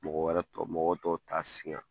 Mɔgɔ wɛrɛ tɔ mɔgɔ tɔw ta sigan